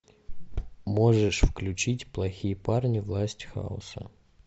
можешь включить плохие парни власть хаоса